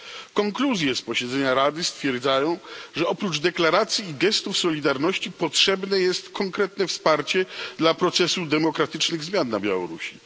W konkluzjach z posiedzenia Rady stwierdzono, że oprócz deklaracji i gestów solidarności potrzebne jest konkretne wsparcie dla procesów demokratycznych zmian na Białorusi.